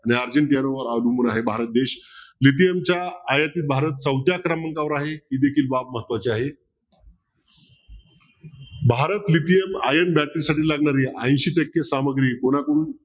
अर्जिनट्यावर अवलंबून आहे भारत देश lithium च्या आयातीत भारत चौथ्या क्रमांकावर आहे ही देखील बाब महत्वाची आहे भारत lithium iron battery साठी लागणारी ऐशी टक्के सामग्री कोणाकडून